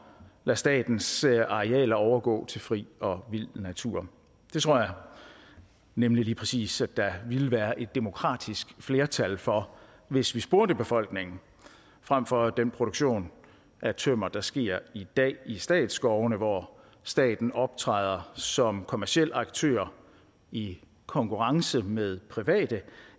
lade statens arealer overgå til fri og vild natur det tror jeg nemlig lige præcis at der ville være et demokratisk flertal for hvis vi spurgte befolkningen frem for at have den produktion af tømmer der sker i dag i statsskovene hvor staten optræder som kommerciel aktør i konkurrence med private